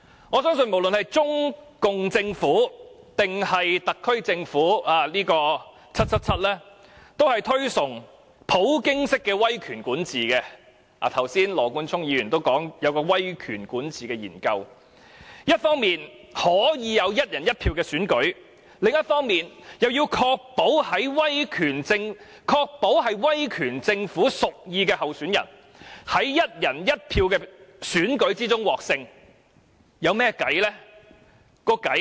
我相信無論是中共政府，還是特區政府 ，"777" 都是推崇普京式的威權管治——剛才羅冠聰議員也提到，有一項威權管治的研究——一方面可以有"一人一票"的選舉，另一方面，又要確保是威權政府屬意的候選人，在"一人一票"的選舉中獲勝。